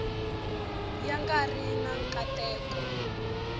ya nga ri na nkateko